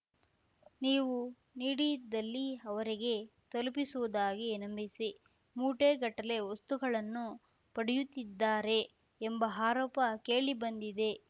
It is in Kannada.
ನೀವು ನೀಡಿದಲ್ಲಿ ಅವರಿಗೆ ತಲುಪಿಸುವುದಾಗಿ ನಂಬಿಸಿ ಮೂಟೆಗಟ್ಟಲೆ ವಸ್ತುಗಳನ್ನು ಪಡೆಯುತ್ತಿದ್ದಾರೆ ಎಂಬ ಆರೋಪ ಕೇಳಿ ಬಂದಿದೆ